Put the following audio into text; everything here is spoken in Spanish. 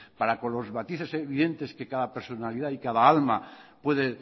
para con los matices evidentes que cada personalidad y cada alma puede